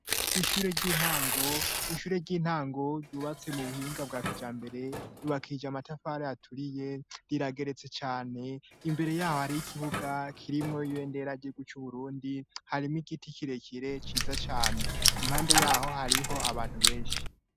Ishure ry'intango ryubatse mu buhinga bwa kijambere. Ryubakije amatafari aturiye rirageretse cane. Imbere y'aho hariho ikibuga kirimwo ibendera ry'igihugu c'Uburundi. Harimwo igiti kirekire ciza cane. Impande y,'aho hariho abantu benshi.